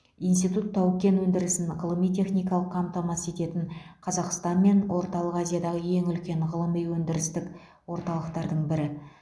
институт тау кен өндірісін ғылыми техникалық қамтамасыз ететін қазақстан мен орталық азиядағы ең үлкен ғылыми өндірістік орталықтардың бірі